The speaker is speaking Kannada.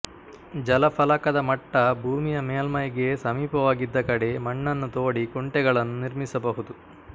ಜಲಫಲಕದ ಮಟ್ಟ ಭೂಮಿಯ ಮೇಲ್ಮೈಗೆ ಸಮೀಪವಾಗಿದ್ದ ಕಡೆ ಮಣ್ಣನ್ನು ತೋಡಿ ಕುಂಟೆಗಳನ್ನು ನಿರ್ಮಿಸಬಹುದು